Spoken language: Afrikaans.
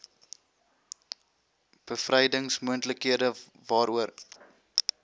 bevrydings moontlikhede waaroor